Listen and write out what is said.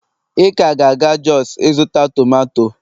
ị ka ga-aga jos ịzụta tomato